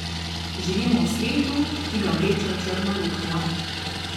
Živimo v svetu, ki ga vleče v črno luknjo.